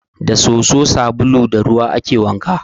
Da soso, sabulu da ruwa ake wanka.